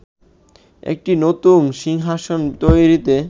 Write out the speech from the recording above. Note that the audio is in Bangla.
একটি নতুন সিংহাসন তৈরিতে